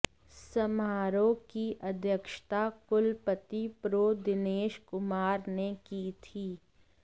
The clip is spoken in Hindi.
समारोह की अध्यक्षता कुलपति प्रो दिनेश कुमार ने की थी